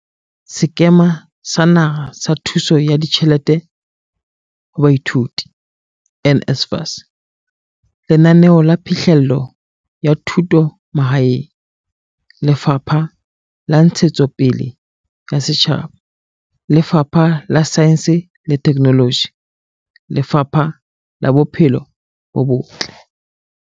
Sekema sa Naha sa Thuso ya Ditjhelete ho Baithuti, NSFAS, Lenaneo la Phihlello ya Thuto Mahaeng, Lefapha la Ntshetsopele ya Setjhaba, Lefapha la Saense le Theknoloji le Lefapha la Bophelo bo Botle.